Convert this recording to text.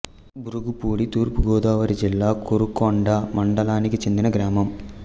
బూరుగుపూడి తూర్పు గోదావరి జిల్లా కోరుకొండ మండలానికి చెందిన గ్రామం